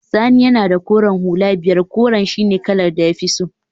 Sani yana da koren hula biyar, koren shine kalar da ya fi so